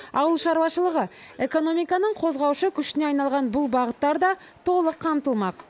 ауыл шаруашылығы экономиканың қозғаушы күшіне айналған бұл бағыттар да толық қамтылмақ